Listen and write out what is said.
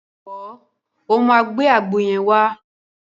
Jọ̀wọ́, o máa gbé àgbo yẹn wá.